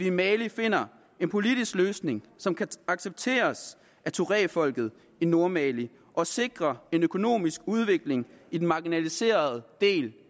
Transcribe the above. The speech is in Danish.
i mali finder en politisk løsning som kan accepteres af touaregfolket i nordmali og sikre en økonomisk udvikling i den marginaliserede del